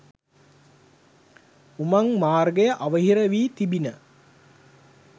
උමං මාර්ගය අවහිර වී තිබිණ.